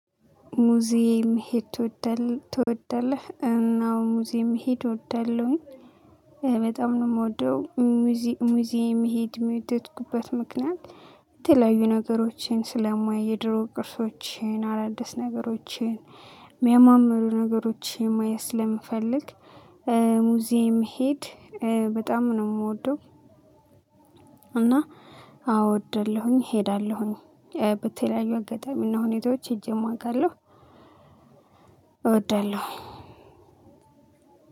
ሙዚየም መሄድ ትወዳለህ? አዎ ሙዚየም መሄድ እወደለሁኝ በጣም ነው የምወደው። ሙዚየም መሄድም የወደድኩበት ምክንያት የተለያዩ ነገሮችን ስለማይ የድሮ ቅርሶችን አዳዲስ ነገሮችን የሚያማምሩ ነገሮችን ማየት ስለምፈልግ ሙዚየም መሄድ በጣም ነው የምወደው። እና አዎ እወዳለሁም እሄዳለሁም በተለያዩ አጋጣሚና ሁኔታዎች ሄጄም አቃለሁ። እወዳለሁም።